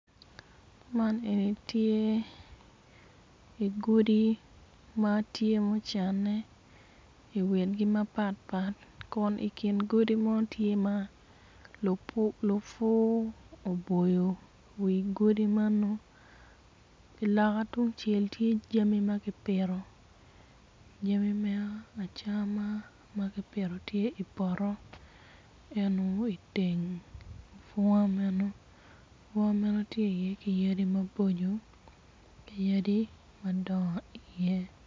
Man eni tye godi ma ocanne i witigi mapatpat kun i nget godi man tye ma lupu oboyo wi godi meno i loka tung cel tye jami ma kipito jami me acama tye ma kipito tye i poto.